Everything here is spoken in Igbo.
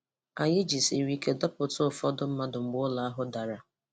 Anyị jisiri ike dọpụta ụfọdụ mmadụ mgbe ụlọ ahụ dara.